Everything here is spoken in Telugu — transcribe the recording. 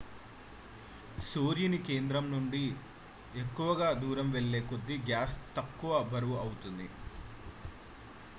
సూర్యుని కేంద్రం నుండి ఎక్కువ దూరం వెళ్లే కొద్దీ గ్యాస్ తక్కువ బరువు అవుతుంది